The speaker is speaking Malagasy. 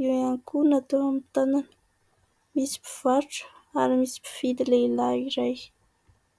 eo ihany koa ny atao amin'ny tanana. Misy mpivarotra ary misy mpividy lehilahy iray.